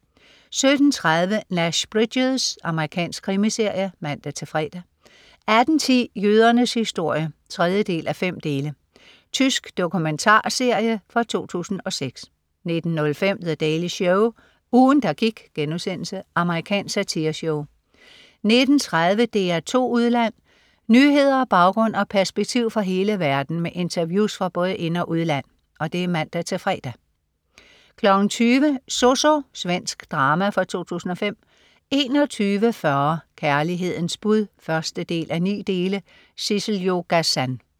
17.30 Nash Bridges. Amerikansk krimiserie (man-fre) 18.10 Jødernes historie 3:5. Tysk dokumentarserie fra 2006 19.05 The Daily Show. Ugen, der gik.* Amerikansk satireshow 19.30 DR2 Udland. Nyheder, baggrund og perspektiv fra hele verden med interviews fra både ind- og udland (man-fre) 20.00 Zozo. Svensk drama fra 2005 21.40 Kærlighedens bud 1:9. Tabet. Sissel-Jo Gazan